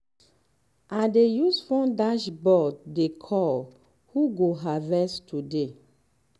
i dey use phone dashboard dey call who go harvest today.